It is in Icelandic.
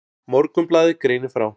Morgunblaðið greinir frá.